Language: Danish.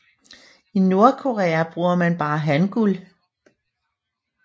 I Nordkorea bruger man bare hangul